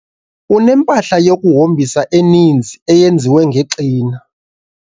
Unempahla yokuhombisa eninzi eyenziwe ngexina.